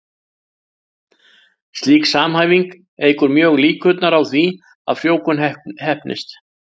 Slík samhæfing eykur mjög líkurnar á því að frjóvgun heppnist.